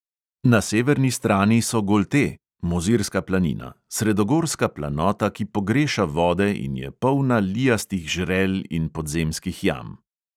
Na severni strani so golte (mozirska planina), sredogorska planota, ki pogreša vode in je polna lijastih žrel in podzemskih jam.